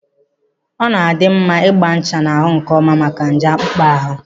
Ọ na-adị mma ịgba ncha n'ahụ nkeọma maka nje akpụkpọ ahụ.